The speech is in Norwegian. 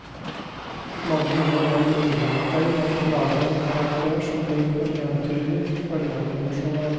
Mange gjør den nybegynnerfeil at de lager en karakter som blir for entydig, for endimensjonal.